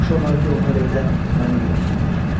Yaxşı olar ki, onlar evdə məni görsünlər.